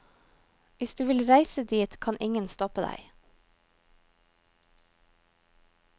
Hvis du vil reise dit, kan ingen stoppe deg.